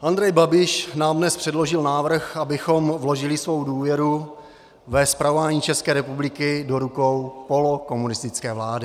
Andrej Babiš nám dnes předložil návrh, abychom vložili svou důvěru ve spravování České republiky do rukou polokomunistické vlády.